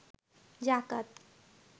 যাকাত